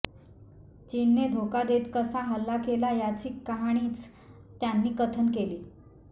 चीनने धोका देत कसा हल्ला केला याची कहाणीच त्यांनी कथन केली